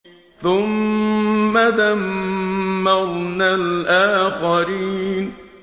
ثُمَّ دَمَّرْنَا الْآخَرِينَ